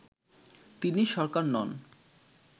তিনি সরকার নন